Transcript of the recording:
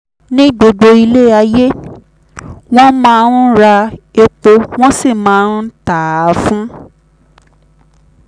ní gbogbo ilẹ̀ ayé wọ́n máa ń ra epo wọ́n sì máa ń ta á fún